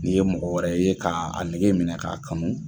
N'i ye mɔgɔ wɛrɛ ye k'a a nege minɛ ka a kanu